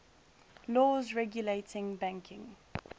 laws regulating banking